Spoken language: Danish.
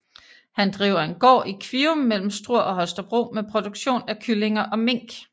Han driver en gård i Kvium mellem Struer og Holstebro med produktion af kyllinger og mink